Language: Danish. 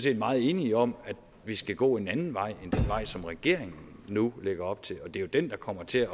er meget enige om at vi skal gå en anden vej end den vej som regeringen nu lægger op til det er jo den der kommer til